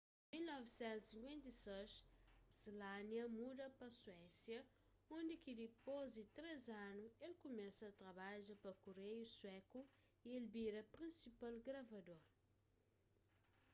na 1956 słania muda pa suésia undi ki dipôs di três anu el kumesa trabadja pa kureiu suéku y el bira prinsipal gravador